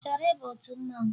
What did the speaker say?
Ị chọrọ ịba otu mmanwụ?